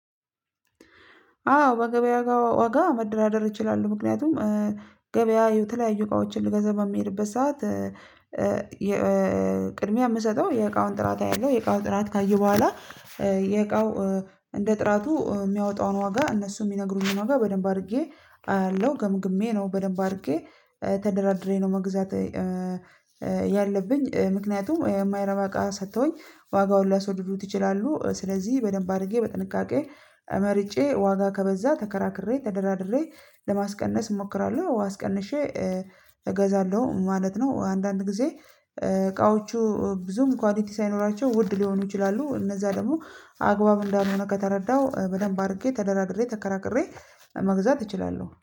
አዎ በገበያ ጋር ወጋ መደራደር እችላለሁ። ምክንያቱም ገበያ የተለያዩ እቃዎችን ልገዛ በሚሄድበት ሰዓት ቅድሚያ የምሰጠው የእቃውን ጥራት አያለሁ የእቃውን ጥራት ካየሁ በኋላ የእቃው እንደ ጥራቱ የሚያወጣውን ዋጋ እነሱ የሚነግሩኝን ዋጋ በደንብ አድርጌ አያለው ገምግሜ ነው በደንብ አድርጌ ተደራድሬ ነው መግዛት። ያለብኝ ምክንያቱም የማይረባ እቃ ሰተውኝ ዋጋውን ሊያስወድዱት ይችላሉ። ስለዚህ በደንብ አድርጌ በጥንቃቄ መርጬ ዋጋ ከበዛ ተከራክሬ ተደራድሬ ለማስቀነስ እሞክራለሁ አስቀንሼ እገዛለሁ ማለት ነው። አንዳንድ ጊዜ እቃዎቹ ብዙም ኳሊቲ ሳይኖራቸው ውድ ሊሆኑ ይችላሉ። እነዛ ደግሞ አግባብ እንዳልሆነ ከተረዳሁ በደንብ አድርጌ ተደራድሬ ተከራክሬ መግዛት እችላለሁ